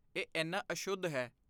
ਇਹ ਇੰਨਾ ਅਸ਼ੁੱਧ ਹੈ।